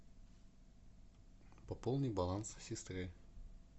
пополни баланс сестры